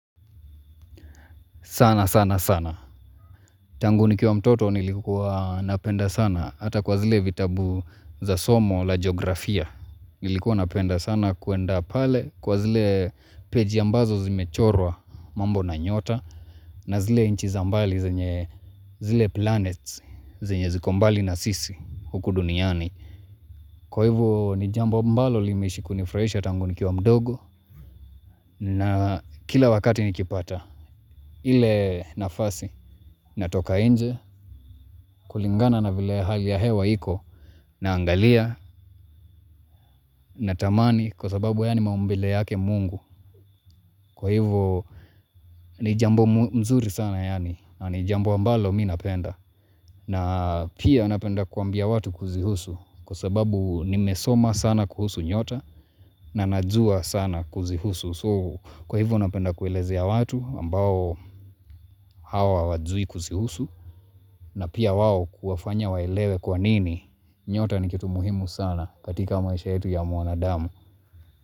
Sana sana sana. Tangu nikiwa mtoto nilikuwa napenda sana. Hata kwa zile vitabu za somo la geografia. Nilikuwa napenda sana kuenda pale. Kwa zile peji ambazo zimechorwa mambo na nyota. Na zile nchi zambali zenye zile planets zine zikombali na sisi huku duniani. Kwa hivu nijambo mbalo limeishi kunifurahisha tangu ni kiwa mdogo. Na kila wakati nikipata. Ile nafasi natoka nje. Kulingana na vile hali ya hewa iko na angalia na tamani kwa sababu haya ni maumbele yake Mungu. Kwa hivyo ni jambo mzuri sana yaani na ni jambo ambalo minapenda. Na pia napenda kuambia watu kuzihusu kwa sababu nimesoma sana kuhusu nyota na najua sana kuzihusu. So kwa hivyo napenda kuelezea ya watu ambao hao hawajui kuzihusu na pia wao kuwafanya waelewe kwa nini nyota ni kitu muhimu sana katika maisha yetu ya mwanadamu.